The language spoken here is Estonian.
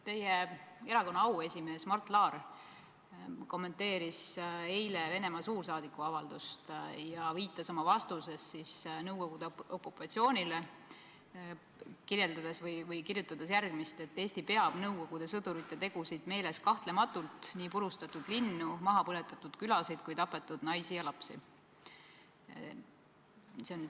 Teie erakonna auesimees Mart Laar kommenteeris eile Venemaa suursaadiku avaldust ja viitas oma vastuses Nõukogude okupatsioonile, kirjeldades või kirjutades järgmist: Eesti peab nende Nõukogude sõdurite tegusid meeles kahtlematult – nii purustatud linnu, maha põletatud külasid kui tapetud naisi-lapsi.